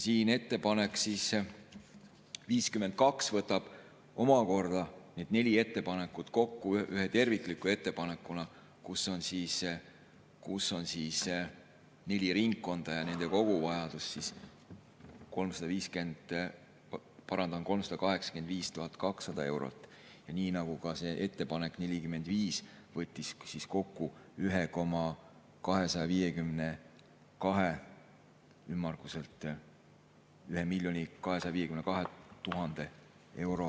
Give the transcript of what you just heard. Ettepanek nr 52 võtab omakorda need neli ettepanekut kokku ühe tervikliku ettepanekuna, kus on neli ringkonda ja nende koguvajadus 385 200 eurot, nagu ka see ettepanek nr 45 võttis kokku ümmarguselt 1 252 000 eurot.